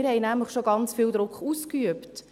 Wir haben nämlich schon ganz viel Druck ausgeübt.